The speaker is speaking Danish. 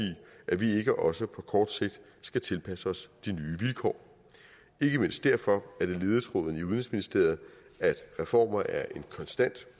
at vi ikke også på kort sigt skal tilpasse os de nye vilkår ikke mindst derfor er det ledetråden i udenrigsministeriet at reformer er en konstant